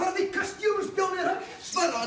að vitkast djöfulsins bjáninn svaraðu